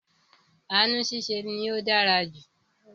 Ànu ṣiṣẹ́ ni ó dára jù